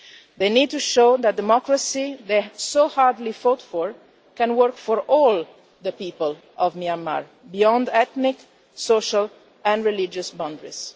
They need to show that the democracy they fought so hard fought can work for all the people of Myanmar, beyond ethnic, social and religious boundaries.